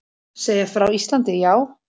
Segja frá Íslandi, já.